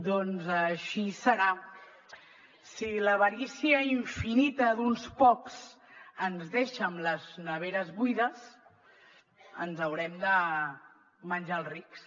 doncs així serà si l’avarícia infinita d’uns pocs ens deixa amb les neveres buides ens haurem de menjar els rics